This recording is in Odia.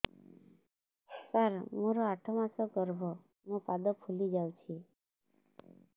ସାର ମୋର ଆଠ ମାସ ଗର୍ଭ ମୋ ପାଦ ଫୁଲିଯାଉଛି